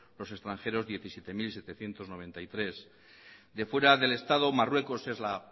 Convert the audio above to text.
los extranjeros diecisiete mil setecientos noventa y tres de fuera del estado marruecos es la